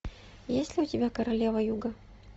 есть ли у тебя королева юга